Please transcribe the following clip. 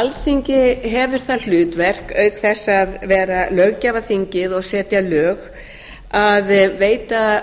alþingi hefur það hlutverk auk þess að vera löggjafarþingið og setja lög að veita